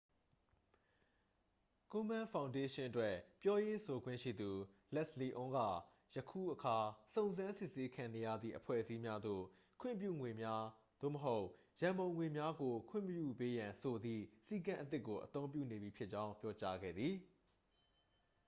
ကိုမန်းဖောင်ဒေးရှင်းအတွက် ပြောရေးဆိုခွင့်ရှိသူ လက်စ်လီအွန်းက ယခုအခါ စုံစမ်းစစ်ဆေးခံနေရသည့် အဖွဲ့အစည်းများသို့ ခွင့်ပြုငွေများ သို့မဟုတ် ရန်ပုံငွေများကို ခွင့်မပြုပေးရန်ဆိုသည့် စည်းကမ်းအသစ်ကို အသုံးပြုနေပြီဖြစ်ကြောင်း ပြောကြားခဲ့သည်